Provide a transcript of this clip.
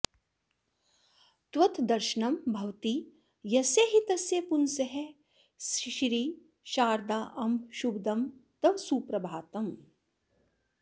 त्वद्दर्शनं भवति यस्य हि तस्य पुंसः श्री शारदाम्ब शुभदं तव सुप्रभातम्